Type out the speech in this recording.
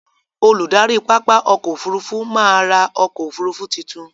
Olùdarí pápá ọkò ọfurufú má á ra ọkò òfurufú titun.